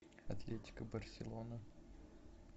атлетико барселона